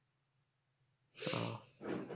ও